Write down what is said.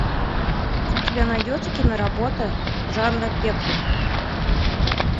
у тебя найдется киноработа жанра пеплум